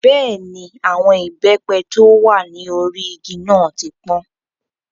Bẹ́ẹ̀ni, àwọn ìbẹ́pẹ tí ó wà ní orí igi náà ti pọ́n.